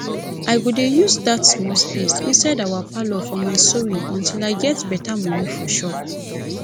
i go dey use dat small space inside our parlour for my sewing until i get better money for shop